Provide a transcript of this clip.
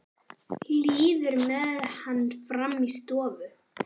Líður með hann fram í stofuna.